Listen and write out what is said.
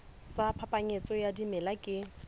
sa phapanyetso ya dimela ke